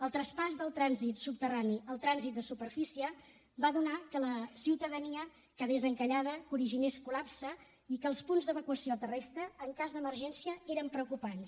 el traspàs del trànsit subterrani al trànsit de superfície va donar que la ciutadania quedés encallada originés col·lapse i que els punts d’evacuació terrestre en cas d’emergència eren preocupants